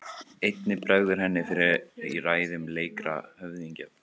Einnig bregður henni fyrir í ræðum leikra höfðingja.